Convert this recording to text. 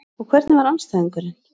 Og hvernig var andstæðingurinn?